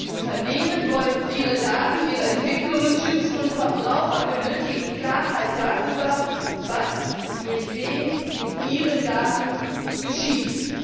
Unternehmen wollen ihre Daten, ihre Entwicklungen schützen, und Verbraucher benötigen Klarheit darüber, was durch wen mit ihren Daten geschieht.